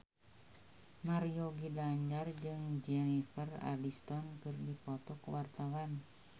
Mario Ginanjar jeung Jennifer Aniston keur dipoto ku wartawan